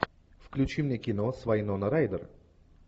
включи мне кино с вайнона райдер